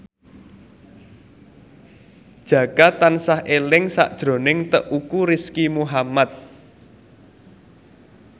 Jaka tansah eling sakjroning Teuku Rizky Muhammad